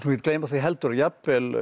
gleyma því heldur að jafnvel